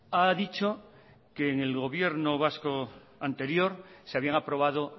ha dicho que en el gobierno vasco anterior se habían aprobado